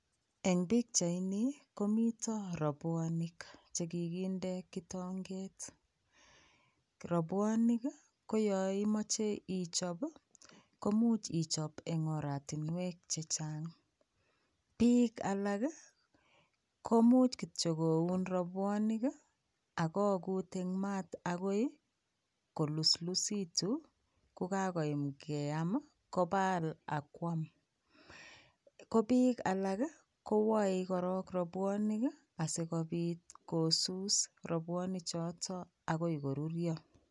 Eng' pichaini komito robwonik chekikinde kitong'et, robwonik koyon imoche ichob komuch ichob en oratinwek chechang, biik alak komuch kityo koun robwonik ak ko kuut eng maat akoi koluslusitu kokakoyam keyam kobal am kwam, ko biik alak kowoe korok robwonik asikobit kosus robwonichoto akoi koruryo.